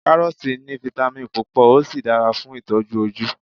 karọọti ni vitamin púpò o sí dára fún itoju oju